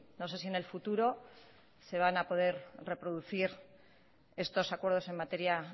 no sé si en el futuro se van a poder reproducir estos acuerdos en materia